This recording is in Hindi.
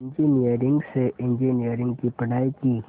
इंजीनियरिंग से इंजीनियरिंग की पढ़ाई की